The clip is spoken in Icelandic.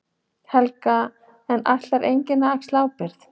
Helga: En ætlar enginn að axla ábyrgð?